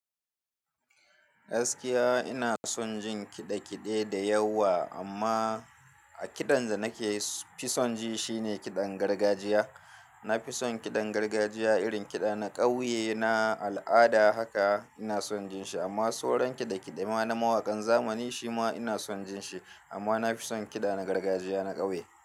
Gaskiya ina son jin kiɗe kiɗe da yawa amma a kiɗan da nake fi son ji shine kiɗan gargajiya. Na fi son kiɗan gargajiya irin kiɗa na ƙauye, na al'ada haka ina son jin shi amma sauran kiɗa kiɗe ma na mawaƙan zamani shi ma ina son jin shi amma na fi son kiɗa na gargajiya na ƙauye.